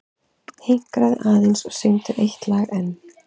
Hinkraðu aðeins og syngdu eitt lag enn.